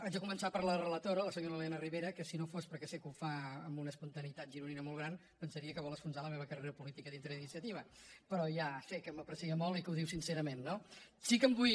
haig de començar per la relatora la senyora elena ribera que si no fos perquè sé que ho fa amb una espontaneïtat gironina molt gran pensaria que vol enfonsar la meva carrera política dintre d’iniciativa però ja sé que m’aprecia molt i que ho diu sincerament no sí que em vull